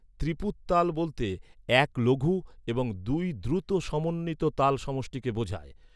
ত্রিপুত তাল বলতে এক লঘু এবং দুই দ্রুত সমন্বিত তাল সমষ্টিকে বোঝায়।